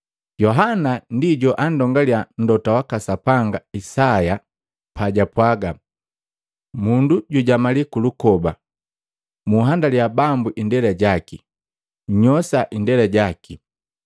Yohana ndi joandongalia mlota waka Sapanga Isaya pajapwaaga, “Mundu jujamali kulukoba, ‘Munhandaliya Bambu indela jaki, nnyosa indela jaki.’ ”